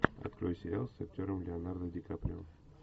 открой сериал с актером леонардо ди каприо